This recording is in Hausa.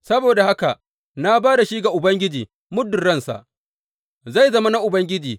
Saboda haka, na ba da shi ga Ubangiji muddin ransa, zai zama na Ubangiji.